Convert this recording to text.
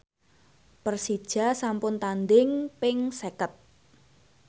Persija sampun tandhing ping seket